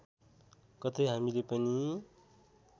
कतै हामीले पनि